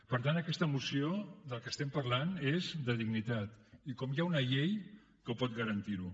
per tant en aquesta moció del que estem parlant és de dignitat i com hi ha una llei que pot garantirho